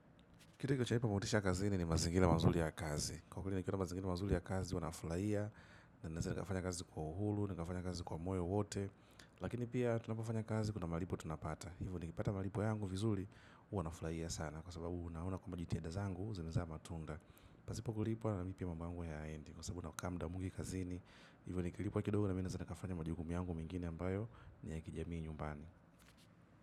Kitu kinachonipa motisha kazini ni mazingira mazuri ya kazi. Kwa kweli ni kiona mazingira mazuri ya kazi huwa nafurahia. Naweza nikafanya kazi kwa uhuru, nikafanya kazi kwa moyo wote. Lakini pia tunapofanya kazi kuna malipo tunapata. Hivyo nikipata malipo yangu vizuri, huwa nafurahia sana. Kwa sababu naona kwamba jitihada zangu, zimezaa matunda. Pasipo kulipa na mimi pia mambo yangu hayaendi. Kwa sababu nakaa muda mwingi kazini. Hivyo nikilipiwa kidogo nami naeza nikafanya majukumu yangu mengine ambayo ni ya kijamii nyumbani.